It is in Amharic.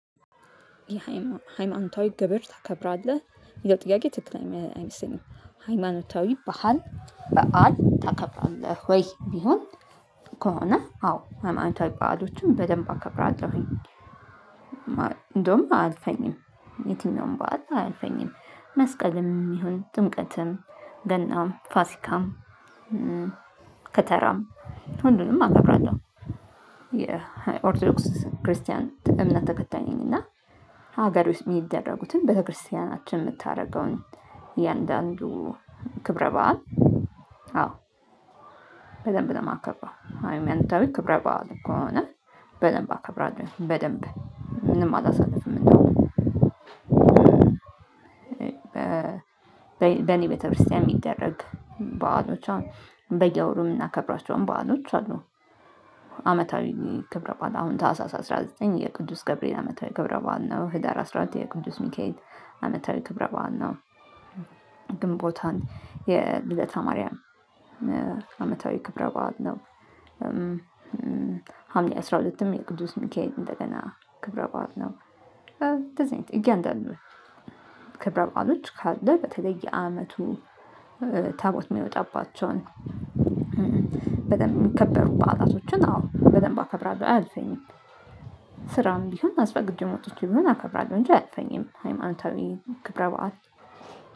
የሃይማኖታዊ ግብር ታከብራለህ? የሚለው ጥያቄ ትክክል አይመስለኝም ሃይማኖታዊ በሀል በዓል ታከብራለህ ወይ ቢሆን ከሆነ አዎ ሃይማኖታዊ በዓሎችን በደንብ አከብራለሁኝ እንደውም አያልፈኝም የትም ነው ባዶ አልፈኝም መስቀልም ይሁን ጥምቀትም ገናም ፋሲካም ከተራም ሁሉንም አከብራለሁ። የኦርቶዶክስ ክርስቲያን እምነት ተከታይነኝ እና ሀገር ውስጥ የሚደረጉትን ቤተክርስቲያናችን የምታደርገውን የእያንዳንዱ ክብረ በዓል አዎ በደንብ ነው ማከብረው ሃይማኖታዊ ክብረ በዓል ከሆነ በደንብ አከብራለሁ በደንብ ምንም አላሳልፍም እንደው በኔ ቤተክርስቲያን የሚደረግ በዓሎች አሁን በየወሩ የምናከብራቸውም በዓሎች አሉ አመታዊ ክብረ በዓል አሁን ታህሳስ አስራ ዘጠኝ የቅዱስ ገብርኤል አመታዊ ክብረ በዓል ነው ህዳር አስራ ሁለት የቅዱስ ሚካኤል አመታዊ ክብረ በዓል ነው ግንቦት አንድ የልደታ ማርያም አመታዊ ክብረበአል ነው ሀምሌ አስራ ሁለትም የቅዱስ ሚካኤል እንደገና ክብረ በዓል ነው ለዚህ እያንዳንዱ ክብረ በዓሎች ካለ በተለየ አመቱ ታቦት የሚወጣባቸውን በደንብ የሚከበሩ በዓላቶችን አዎ በደንብ አከብራለሁ አያልፈኝም ስራም ቢሆን አስፈቅጄም ወጥቼም ቢሆን አከብራለሁ እንጂ አያልፈኝም ሃይማኖታዊ ክብረ በዓል